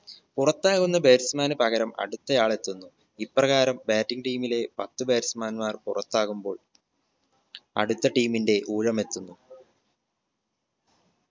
പുറത്താകുന്ന batsman ന് പകരം അടുത്ത ആൾ എത്തുന്നു ഇപ്രകാരം bating team ലെ പത്ത് batsman മാർ പുറത്താകുമ്പോൾ അടുത്ത team ന്റെ ഊഴമെത്തുന്നു